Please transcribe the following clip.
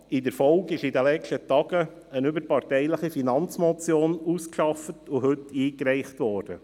In der Folge ist in den letzten Tagen eine überparteiliche Finanzmotion () ausgearbeitet und heute eingereicht worden.